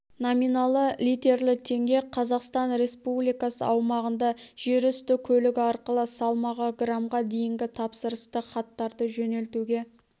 номиналы литерлі теңге қазақстан республикасы аумағында жерүсті көлігі арқылы салмағы граммға дейінгі тапсырысты хаттарды жөнелтуге